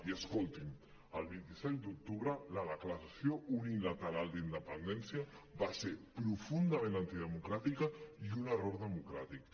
i escolti’m el vint set d’octubre la declaració unilateral d’independència va ser profundament antidemocràtica i un error democràtic